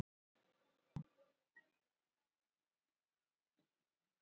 Enda víða áð.